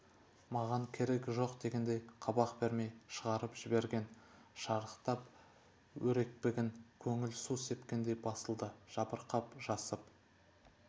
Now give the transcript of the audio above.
маған керегі жоқ дегендей қабақ бермей шығарып жіберген шарықтап өрекпіген көңіл су сепкендей басылды жабырқап жасып